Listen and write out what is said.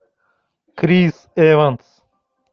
крис эванс